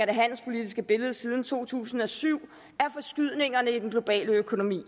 det handelspolitiske billede siden to tusind og syv er forskydningerne i den globale økonomi